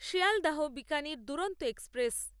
Sealdah Bikaner Duronto express